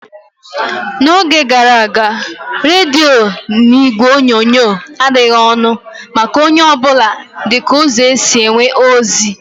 N'oge gara aga, rediyo na igwe onyonyo adịghị ọnụ maka onye ọ bụla dịka ụzọ esi enweta ozi.